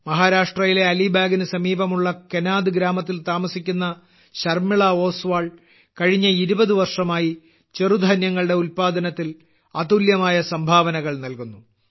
മഹാരാഷ്ട്രയിലെ അലിബാഗിന് സമീപമുള്ള കെനാദ് ഗ്രാമത്തിൽ താമസിക്കുന്ന ശർമ്മിള ഓസ്വാൾ കഴിഞ്ഞ 20 വർഷമായി ചെറുധാന്യങ്ങളുടെ ഉല്പാദനത്തിൽ അതുല്യമായ സംഭാവനകൾ നൽകുന്നു